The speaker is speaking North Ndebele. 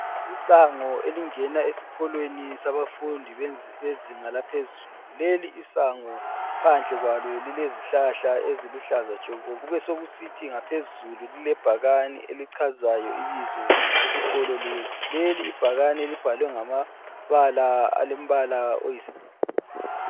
Isango elingena esikolweni sabafundi bezinga laphezulu. Leli isango phandle kwalo lilezihlahla eziluhlaza tshoko, kubesekuthi ngaphezulu lilebhakane elichazayo ibizo lesikolo lesi. Leli ibhakane libhalwe ngabala alombala oyisi